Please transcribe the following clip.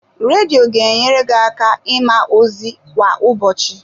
Redio ga enyere gị aka ịma ozi kwa ụbọchị.